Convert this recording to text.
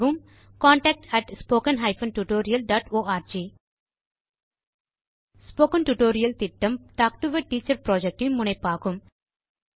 contactspoken tutorialorg spoken tutorial திட்டம் talk to a teacher project இன் முனைப்பாகும்